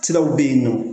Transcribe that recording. Siraw bɛ yen nɔ